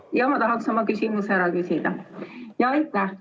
Jah, ma tahan selle küsimuse ära küsida.